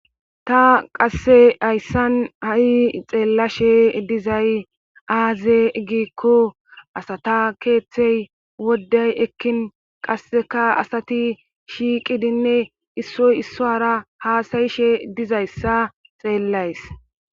ta qasse hayssan ha'i xeellashe dizay aaze giikko asata keeththey woddey ekkin qasseka asati shiiqidinne issoy issowara haasayishe dizayssa xeellays